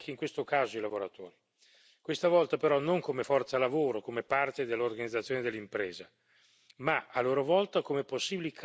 Questa volta però non come forza lavoro, come parte dell'organizzazione dell'impresa, ma, a loro volta, come possibili creditori di un'impresa in crisi.